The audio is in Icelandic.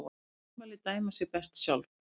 Þau ummæli dæma sig best sjálf.